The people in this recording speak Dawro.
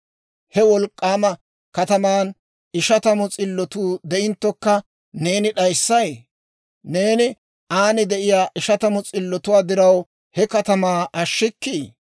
He wolk'k'aama katamaan ishatamu s'illotuu de'inttokka, neeni d'ayssay? Neeni aan de'iyaa ishatamu s'illotuwaa diraw he katamaa ashshikkii?